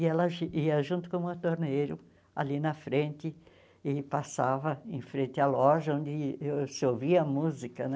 E ela ji ia junto com o montorneiro ali na frente e passava em frente à loja onde ãh se ouvia música, né?